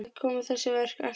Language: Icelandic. Þaðan koma þessi verk alltaf.